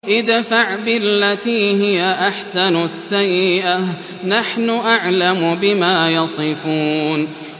ادْفَعْ بِالَّتِي هِيَ أَحْسَنُ السَّيِّئَةَ ۚ نَحْنُ أَعْلَمُ بِمَا يَصِفُونَ